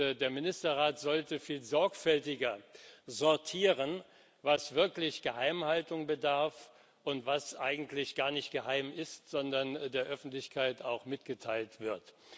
Und der Ministerrat sollte viel sorgfältiger sortieren, was wirklich der Geheimhaltung bedarf und was eigentlich gar nicht geheim ist, sondern der Öffentlichkeit auch mitgeteilt wird.